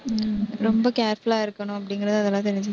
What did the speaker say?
ரொம்ப careful ஆ இருக்கணும் அப்படிங்கறது அதெல்லாம் தெரிஞ்சுச்சு